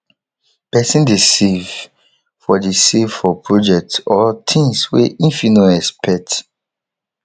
persin de save for de save for projects or things wey im fit no expect